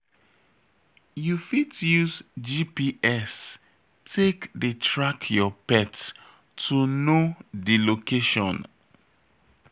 You fit use GPS take dey track your pet to know di location